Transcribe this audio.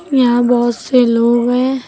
यहां बहुत से लोग हैं।